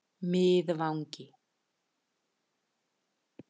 Miðvangi